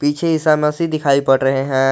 पीछे ईसा मसीह दिखाई पड़ रहे हैं।